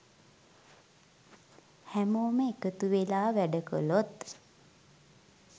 හැමෝම එකතුවෙලා වැඩ කළොත්